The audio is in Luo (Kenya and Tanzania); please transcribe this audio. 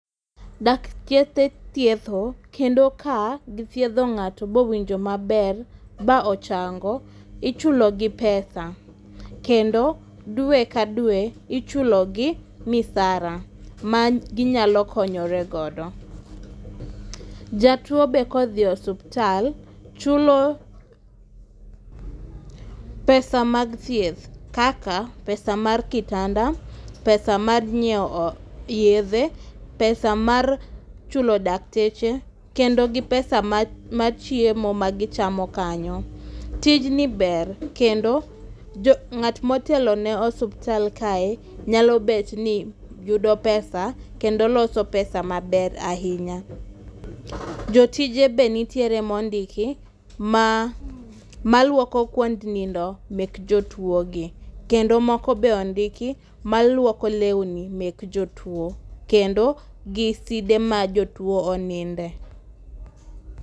Dakteche tietho. Kendo ka githiedho ngáto ba owinjo maber, ba ochango, ichulo gi pesa. Kendo dwe ka dwe ichulo gi misara, ma ginyalo konoyore godo. Jatwo bende ka odhi e osiptal, chulo pesa mag thieth. Kaka pesa mar kitanda, pesa mar nyiewo yiethe, pesa mar chulo dakteche, kendo gi pesa mar mar chiemo ma gichamo kanyo. Tijni ber kendo, jo, ngát ma otelo e osiptal kae nyalo bet ni yudo pesa, kendo loso pesa maber ahinya. Jotije be nitiere ma ondiki, ma malwoko kwond nindo mek jotwo gi. Kendo moko bende ondiki maluoko lewni mek jotwo. Kendo giside ma jotwo oninde.